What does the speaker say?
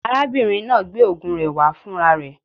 Arábìnrin náà gbé ògùn rẹ wá fún ra rẹ